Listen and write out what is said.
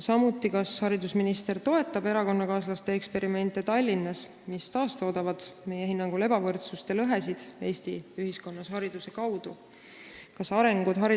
Samuti, kas haridusminister toetab erakonnakaaslaste eksperimente Tallinnas, mis meie hinnangul taastoodavad Eesti ühiskonnas hariduse kaudu ebavõrdsust ja lõhesid?